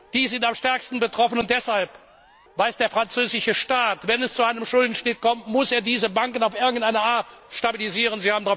Diese sind am stärksten betroffen, und deshalb weiß der französische Staat Wenn es zu einem Schuldenschnitt kommt, muss er diese Banken auf irgendeine Art stabilisieren.